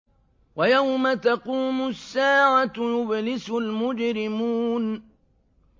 وَيَوْمَ تَقُومُ السَّاعَةُ يُبْلِسُ الْمُجْرِمُونَ